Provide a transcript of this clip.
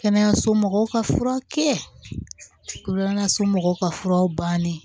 Kɛnɛyaso mɔgɔw ka fura kɛ koso mɔgɔw ka furaw bannen